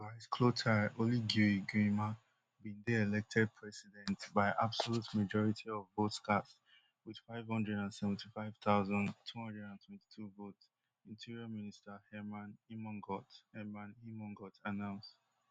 brice clotaire oligui guema bin dey elected president by absolute majority of votes cast wit five hundred and seventy-five thousand, two hundred and twenty-two votes interior minister hermann immongault hermann immongault announce